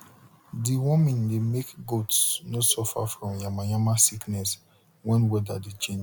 deworming de make goats nor suffer from yamayama sickness wen weather change